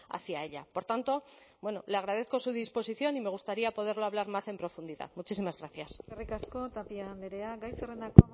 hacia ella por tanto bueno le agradezco su disposición y me gustaría poderlo hablar más en profundidad muchísimas gracias eskerrik asko tapia andrea gai zerrendako